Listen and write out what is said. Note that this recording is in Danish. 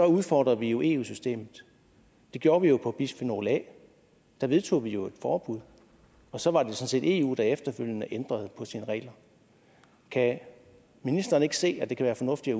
udfordrer vi jo eu systemet det gjorde vi jo på bisfenol a der vedtog vi jo et forbud og så var det sådan set eu der efterfølgende ændrede på sine regler kan ministeren ikke se at det kan være fornuftigt